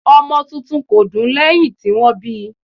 ọmọ titun kò dún lẹ́hìn tí wọ́n bíi.